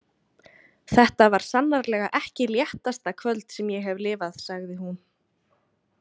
Þetta var sannarlega ekki léttasta kvöld sem ég hef lifað, sagði hún.